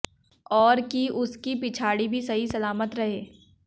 और कि उस की पिछाड़ी भी सही सलामत रहे